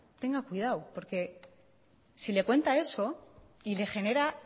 tenga cuidado porque si le cuenta eso y le genera